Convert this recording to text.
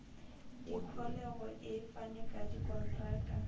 dikholego e fane ka dikontraka